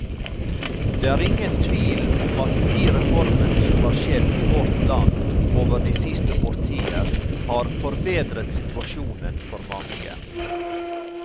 Det er ingen tvil om at de reformene som har skjedd i vårt land over de siste årtier, har forbedret situasjonen for mange.